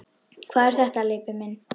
Hvað er þetta, Leibbi minn.